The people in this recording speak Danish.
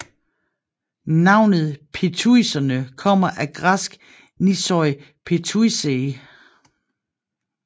Navnet Pityuserne kommer af græsk Nissoi pityussai